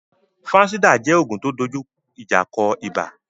Fansidar jẹ́ oògùn tó dojú ìjà kọ ibà